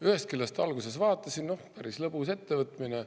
Ühest küljest, alguses vaatasin, noh, päris lõbus ettevõtmine.